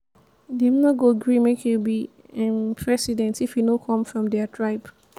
dem no go gree make you be um president if you no come from their tribe.